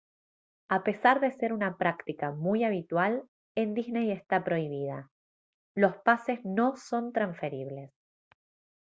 a pesar de ser una práctica muy habitual en disney está prohibida los pases no son transferibles